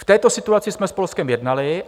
V této situaci jsme s Polskem jednali.